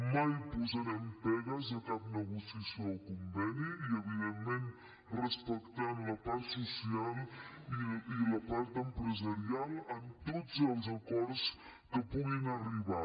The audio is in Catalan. mai posarem pegues a cap negociació o conveni i evidentment respectant la part social i la part empresarial en tots els acords que puguin arribar